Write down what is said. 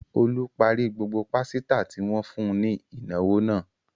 Olú parí gbogbo pásítà tí wọ́n fún ní ìnáwó náà.